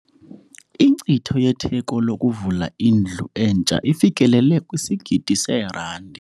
Inkcitho yetheko lokuvula indlu entsha ifikelele kwisigidi seerandi.